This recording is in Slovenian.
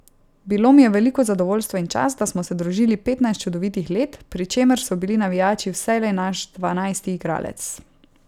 Bilo mi je v veliko zadovoljstvo in čast, da smo se družili petnajst čudovitih let, pri čemer so bili navijači vselej naš dvanajsti igralec.